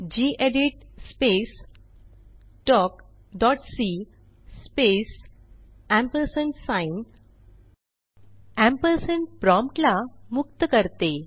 गेडीत space talk dot C space sign ampersand prompt ला मुक्त करते